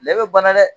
Lɛ bɛ bana dɛ